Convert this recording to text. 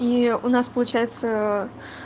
и у нас получается